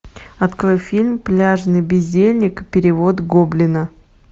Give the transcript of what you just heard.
открой фильм пляжный бездельник перевод гоблина